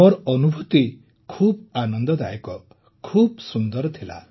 ମୋର ଅନୁଭୁତି ଖୁବ ଆନନ୍ଦଦାୟକ ଖୁବ ସୁନ୍ଦର ଥିଲା